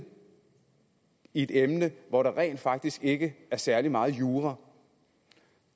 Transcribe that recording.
i et emne hvor der rent faktisk ikke er særlig meget jura